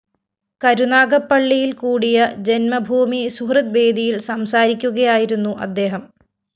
കരുനാഗപ്പള്ളിയില്‍ കൂടിയ ജന്മഭൂമി സുഹൃദ്‌വേദിയില്‍ സംസാരിക്കുകയായിരുന്നു അദ്ദേഹം